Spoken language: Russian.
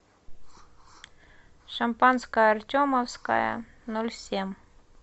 шампанское артемовское ноль семь